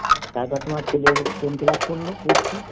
তারপর তোমার ছেলে কোন class পড়ল পরত